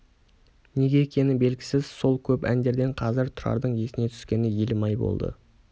неге екені белгісіз сол көп әндерден қазір тұрардың есіне түскені елім-ай болды